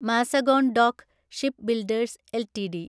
Mazagon dock shipbuilders LTD